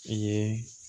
I ye